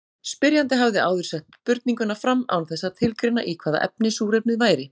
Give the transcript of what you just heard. Spyrjandi hafði áður sett spurninguna fram án þess að tilgreina í hvaða efni súrefnið væri.